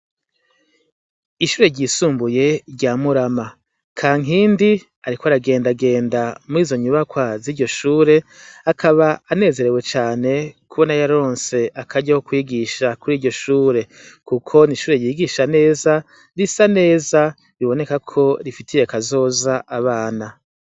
Ishure ryisumbuye rya murama kankindi, ariko aragendagenda murizo nyubakoazi ryo shure akaba anezerewe cane kubo na yaronse akarya ko kwigisha kuri iryo shure, kuko n'ishure ryigisha neza risa neza biboneka ko rifitiye kazoza abana ana.